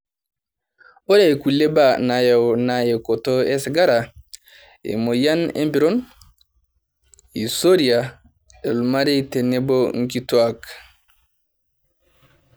Ore kulie baa naayau naa ewokoto osigara, emoyian empiron, hisoria olmarei tenebo nkituak.